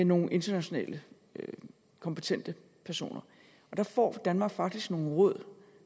nogle internationale kompetente personer og der får danmark faktisk nogle råd